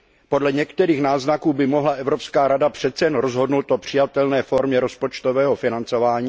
Podle některých náznaků by mohla Evropská rada přece jen rozhodnout o přijatelné formě rozpočtového financování.